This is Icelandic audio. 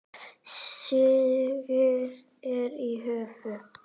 Stigið er í höfn!